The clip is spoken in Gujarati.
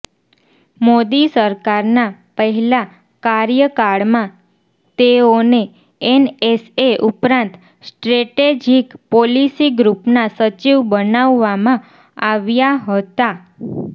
મોદી સરકારના પહેલાં કાર્યકાળમાં તેઓને એનએસએ ઉપરાંત સ્ટ્રેટેજિક પોલિસી ગ્રુપના સચિવ બનાવવામાં આવ્યા હતા